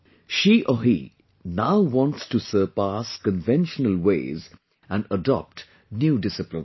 She or he now wants to surpass conventional ways and adopt new disciplines